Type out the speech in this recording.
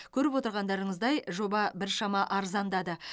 көріп отырғандарыңыздай жоба біршама арзандады